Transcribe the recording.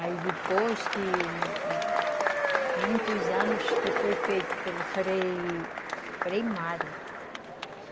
Aí depois, muitos anos que foi feito pelo Frei Frei Mário.